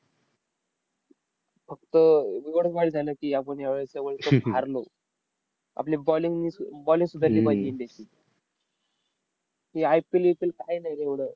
फक्त अह एवढंच वाईट झालं की, आपण यावेळी ते world cup हारलो. आपली bowling bowling सुधारली पाहिजे इंडियाची. ही IPLVPL काय नाय रे एवढं.